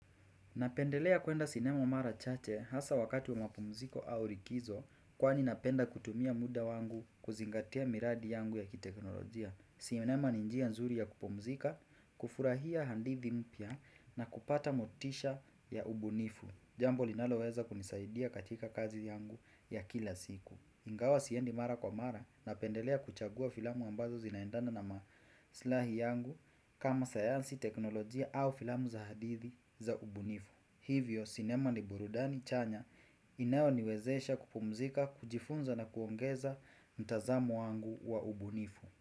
Napendelea kuenda sinema mara chache hasa wakati wa mapumziko au rikizo kwa ni napenda kutumia muda wangu kuzingatia miradi yangu ya kiteknolojia. Sinema ni njia nzuri ya kupumzika, kufurahia handithi mpya na kupata motisha ya ubunifu. Jambo linaloweza kunisaidia katika kazi yangu ya kila siku. Ingawa siendi mara kwa mara na pendelea kuchagua filamu ambazo zinaendana na maslahi yangu kama sayansi teknolojia au filamu za hadithi za ubunifu. Hivyo, sinema ni burudani chanya inayo niwezesha kupumzika, kujifunza na kuongeza mtazamo wangu wa ubunifu.